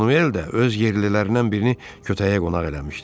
Manuel də öz yerlilərindən birini kötəyə qonaq eləmişdi.